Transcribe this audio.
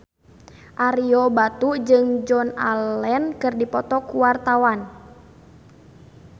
Ario Batu jeung Joan Allen keur dipoto ku wartawan